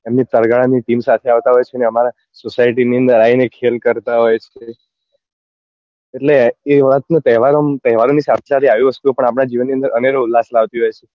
તરગાળા ની team સાથે આવતા હોય છે ને અમારા society ની અંદર આવી ને ખેલ કરતા હોય છે એટલે એ વાત નો તહેવાર ઓ માં તહેવાર ની સાથે સાથે આવી વસ્તુ જીવન ની અંદર અનેરો ઉલ્લાસ લાવતા હોય છે